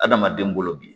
Adamaden bolo bi